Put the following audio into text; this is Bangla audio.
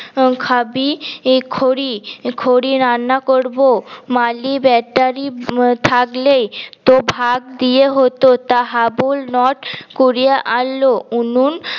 খাবি খড়ি খড়ি রান্না করব মালি বেটা রি থাকলেই ত ভাব দিয়ে হত তা হাবুল নট কুরিয়া আনল উনুন